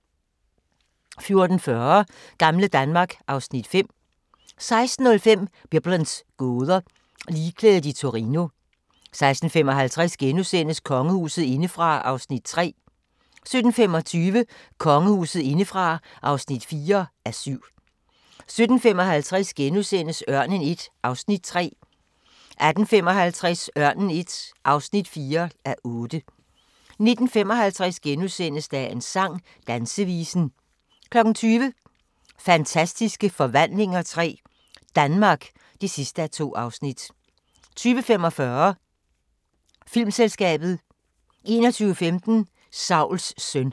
14:40: Gamle Danmark (Afs. 5) 16:05: Biblens gåder – Ligklædet i Torino 16:55: Kongehuset indefra (3:7)* 17:25: Kongehuset indefra (4:7) 17:55: Ørnen I (3:8)* 18:55: Ørnen I (4:8) 19:55: Dagens sang: Dansevisen * 20:00: Fantastiske Forvandlinger III – Danmark (2:2) 20:45: Filmselskabet 21:15: Sauls søn